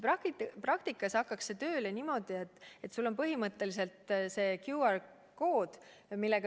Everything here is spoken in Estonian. Praktikas hakkaks see tööle niimoodi, et sul on põhimõtteliselt see QR-kood.